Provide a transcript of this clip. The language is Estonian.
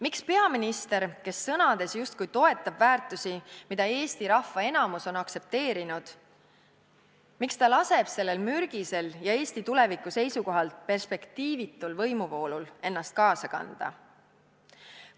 Miks peaminister, kes sõnades justkui toetab väärtusi, mida Eesti rahva enamus on aktsepteerinud, laseb sellel mürgisel ja Eesti tuleviku seisukohalt perspektiivitul võimuvoolul ennast kaasa kanda?